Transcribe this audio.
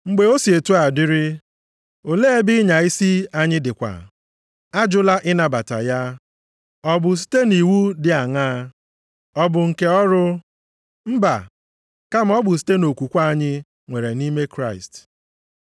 Mgbe o si otu a dịrị, olee ebe ịnya isi anyị dịkwa? Ajụla ịnabata ya. Ọ bụ site iwu dị aṅa? Ọ bụ nke ọrụ? Mba, kama ọ bụ site nʼokwukwe anyị nwere nʼime Kraịst.